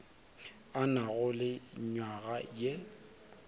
a na le nywaga ye